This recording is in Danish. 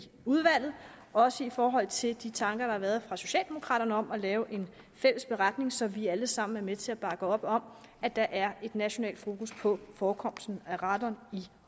udvalget også i forhold til de tanker der har været fra socialdemokraternes side om at lave en fælles beretning så vi alle sammen er med til at bakke op om at der er et nationalt fokus på forekomsten af radon i